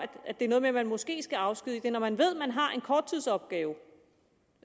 at det er noget med at man måske skal afskedige det er når man ved at man har en korttidsopgave